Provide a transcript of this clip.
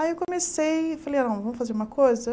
Aí eu comecei e falei, não vamos fazer uma coisa?